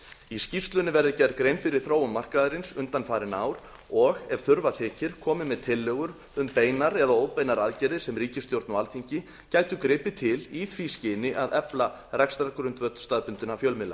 í skýrslunni verði gerð grein fyrir þróun markaðarins undanfarin ár og ef þurfa þykir komið með tillögur um beinar eða óbeinar aðgerðir sem ríkisstjórn og alþingi gætu gripið til í því skyni að efla rekstrargrundvöll staðbundinna fjölmiðla